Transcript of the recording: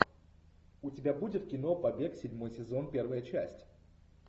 у тебя будет кино побег седьмой сезон первая часть